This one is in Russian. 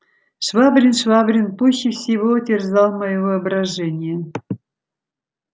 швабрин швабрин пуще всего терзал моё воображение